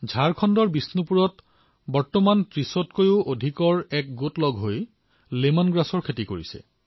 ঝাৰখণ্ডৰ বিষ্ণুপুৰত এতিয়া ৩০ত কৈও অঘিক সম্প্ৰদায়ে একত্ৰিতভাৱে লেমন গ্ৰাছৰ খেতি কৰিবলৈ ধৰিছে